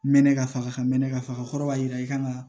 Mɛnɛ ka faga ka mɛnɛ ka faga kɔrɔ b'a jira i kan ka